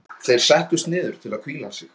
Þeir settust niður til að hvíla sig.